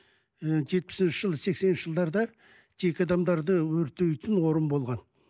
і жетпісінші жылы сексенінші жылдарда жеке адамдарды өртейтін орын болған